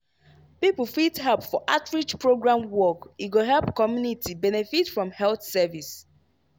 people fit help for outreach program work e go help community benefit from health service.